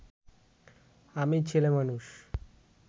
আমি ছেলেমানুষ